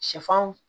Sɛfan